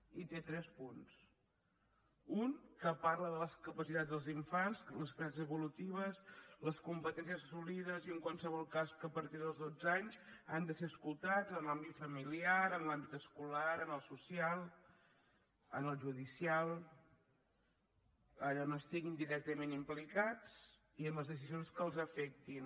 i té tres punts un que parla de les capacitats dels infants les capacitats evolutives les competències assolides i en qualsevol cas que a partir dels dotze anys han de ser escoltats en l’àmbit familiar en l’àmbit escolar en el social en el judicial allà on estiguin directament implicats i en les decisions que els afectin